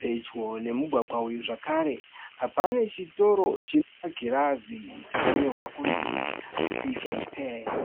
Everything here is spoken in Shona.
Pedyo nemugwagwa uyu zvakare pane chitoro chemagirazi chakanyorwa kunzi Pick n Pay.